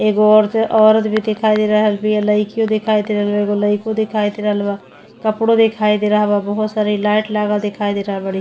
एगो और से औरत भी दिखाई दे रहल बिया लइकिओ दिखाई दे रहल बिया एगो लइको दिखाई दे रहल बा कपड़ो दिखाई दे रहल बा बहोत सारी लाइट लागल दिखाई दे रहल बाड़ी।